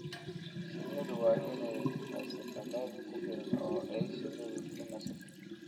Shinnidu waa inay haysataa meel ku filan oo ay shinnidu ku nasato.